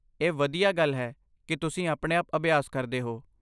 ਇਹ ਵਧੀਆ ਗੱਲ ਹੈ ਕੀ ਤੁਸੀਂ ਆਪਣੇ ਆਪ ਅਭਿਆਸ ਕਰਦੇ ਹੋ